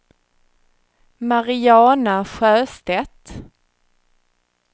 Mariana Sjöstedt